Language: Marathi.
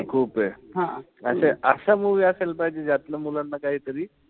खूप ए. अशे अशा movie असायला पाहिजे ज्यातन मुलांना काहीतरी,